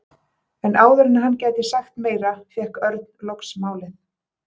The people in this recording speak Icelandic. En áður en hann gæti sagt meira fékk Örn loks málið.